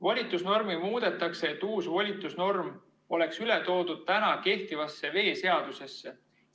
Volitusnormi muudetakse, et uus volitusnorm oleks üle toodud täna kehtivasse veeseadusesse.